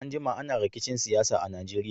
An jima ana rikicin siyasa a Najeriya.